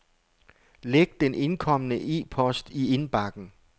Læg den indkomne e-post i indbakken.